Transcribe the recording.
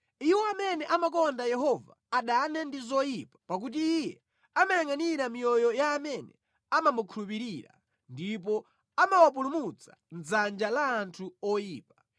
Iwo amene amakonda Yehova adane ndi zoyipa pakuti Iye amayangʼanira miyoyo ya amene amamukhulupirira ndipo amawapulumutsa mʼdzanja la anthu oyipa